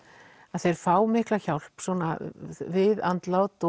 þeir fá mikla hjálp við andlát